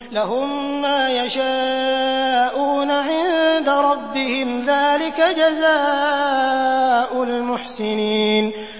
لَهُم مَّا يَشَاءُونَ عِندَ رَبِّهِمْ ۚ ذَٰلِكَ جَزَاءُ الْمُحْسِنِينَ